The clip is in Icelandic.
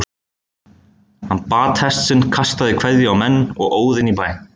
Hann batt hest sinn, kastaði kveðju á menn og óð inn í bæ.